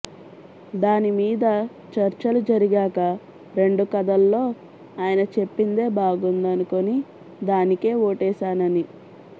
దాని మీద చర్చలు జరిగాక రెండు కథల్లో ఆయన చెప్పిందే బాగుందనుకుని దానికే ఓటేశానని